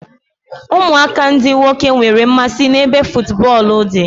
Ụmụaka ndị nwoke nwere mmasị n'ebe futubọọlụ dị